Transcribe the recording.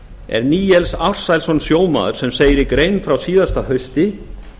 er níels ársælsson sjómaður sem segir í grein frá frá síðasta hausti